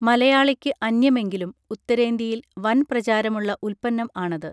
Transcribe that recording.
മലയാളിക്ക് അന്യമെങ്കിലും ഉത്തരേന്ത്യയിൽ വൻ പ്രചാരമുള്ള ഉത്പന്നം ആണത്